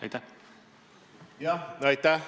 Aitäh!